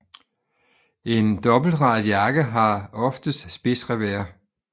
En dobbeltradet jakke har oftest spidsrevers